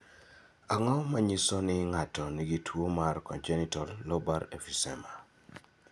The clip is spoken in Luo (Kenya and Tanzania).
Ang�o ma nyiso ni ng�ato nigi tuo mar Congenital lobar emphysema?